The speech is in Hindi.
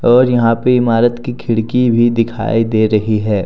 और यहां पे इमारत की खिड़की भी दिखाई दे रही है।